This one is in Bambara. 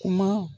Kuma